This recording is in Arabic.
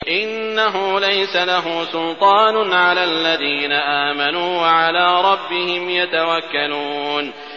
إِنَّهُ لَيْسَ لَهُ سُلْطَانٌ عَلَى الَّذِينَ آمَنُوا وَعَلَىٰ رَبِّهِمْ يَتَوَكَّلُونَ